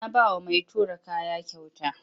Na ba wa mai tura kaya kyauta.